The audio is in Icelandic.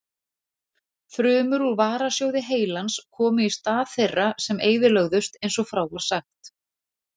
Frumur úr varasjóði heilans komu í stað þeirra sem eyðilögðust eins og frá var sagt.